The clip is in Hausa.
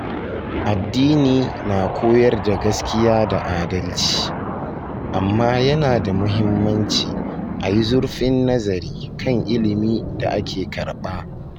Addini na koyar da gaskiya da adalci, amma yana da muhimmanci a yi zurfin nazari kan ilimi da ake karɓa.